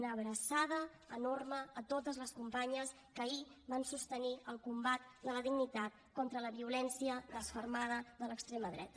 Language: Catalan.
una abraçada enorme a totes les companyes que ahir van sostenir el combat de la dignitat contra la violència desfermada de l’extrema dreta